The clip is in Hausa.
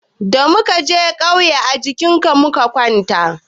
Da muka je ƙauye,a jinka muka kwana.